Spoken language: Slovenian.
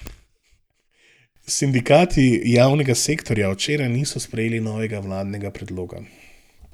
Sindikati javnega sektorja včeraj niso sprejeli novega vladnega predloga.